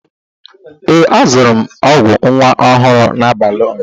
Ee, azụrụ m ọgwụ nwa ọhụrụ n'abalị ụnyaahụ.